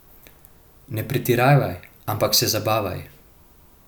Ne pretiravaj, ampak se zabavaj.